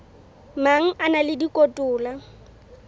mang a na le dikotola